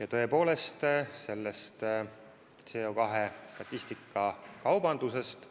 Ja sellest CO2 kvootide müügist